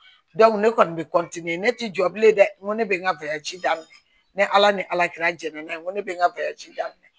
ne kɔni bɛ ne ti jɔ bilen dɛ n ko ne bɛ n ka daminɛ ne ala ni ala kɛra jɛnɛ ye ko ne bɛ n ka daminɛ